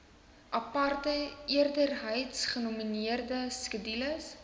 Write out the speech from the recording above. aparte eendersgenommerde skedules